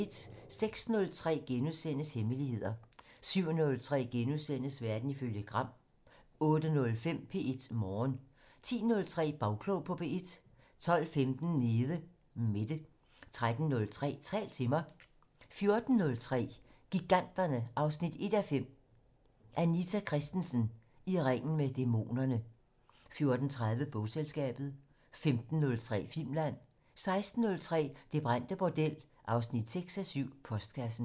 06:03: Hemmeligheder * 07:03: Verden ifølge Gram * 08:05: P1 Morgen 10:03: Bagklog på P1 12:15: Nede Mette 13:03: Tal til mig 14:03: Giganterne 1:5 - Anita Christensen: I ringen med dæmonerne 14:30: Bogselskabet 15:03: Filmland: 16:03: Det brændte bordel 6:7 - Postkassen